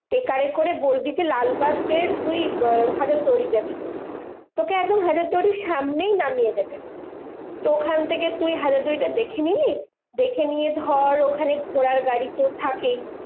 ট্রেকারে করে বলবি যে লালবাগের তুই হাজারদুয়ারি যাবি। তোকে একদম হাজারদুয়ারির সামনেই নামিয়ে দেবে। তো ওখান থেকে তুই হাজারদুয়ারিটা দেখে নিলি। দেখে নিয়ে ধর ওখানে ঘোড়ার গাড়ি তো থাকেই